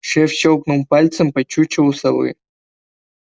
шеф щёлкнул пальцем по чучелу совы